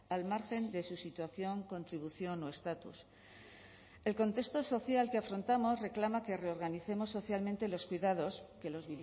al margen de su situación contribución o estatus el contexto social que afrontamos reclama que reorganicemos socialmente los cuidados que los